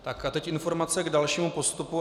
Tak a teď informace k dalšímu postupu.